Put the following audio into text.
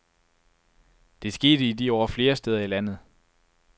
Det skete i de år flere steder i landet.